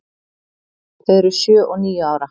Þau eru sjö og níu ára.